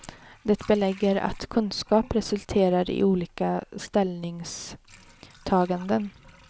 Det belägger att kunskap resulterar i olika ställningstaganden.